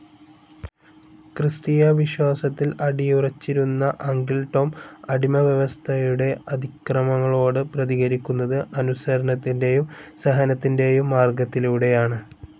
ക്രിസ്തീയവിശ്വാസത്തിൽ അടിയുറച്ചിരുന്ന Uncle Tom അടിമവ്യവസ്ഥയുടെ അതിക്രമങ്ങളോട് പ്രതികരിക്കുന്നത് അനുസരണത്തിൻ്റെയും സഹനത്തിൻ്റെയും മാർഗത്തിലൂടെയാണ്.